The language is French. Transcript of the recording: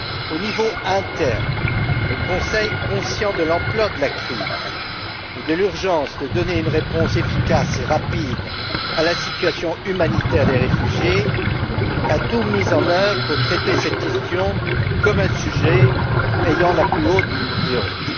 Au niveau interne, le Conseil, conscient de l'ampleur de la crise et de l'urgence d'apporter une réponse efficace et rapide à la situation humanitaire des réfugiés, a tout mis en oeuvre pour traiter cette question comme un sujet ayant la plus haute priorité.